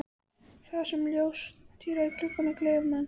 Þar sem ljóstíra í glugga gleður mann.